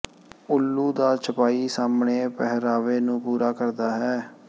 ਉੱਲੂ ਦਾ ਛਪਾਈ ਸਾਹਮਣੇ ਪਹਿਰਾਵੇ ਨੂੰ ਪੂਰਾ ਕਰਦਾ ਹੈ